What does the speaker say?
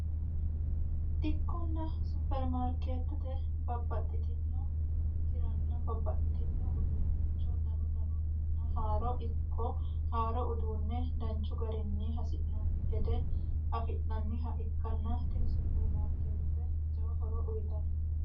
dikkonna supermaarkeetete babbaxxitino hiranna babbaxxitino uduunnicho danu danunninna haaro ikko haaro uduunne danchu garinni hasi'noonni gede afi'naniha ikkanna tini supermaarkeette jawa horo uyitanno